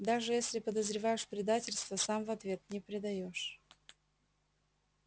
даже если подозреваешь предательство сам в ответ не предаёшь